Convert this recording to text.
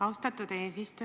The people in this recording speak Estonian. Austatud eesistuja!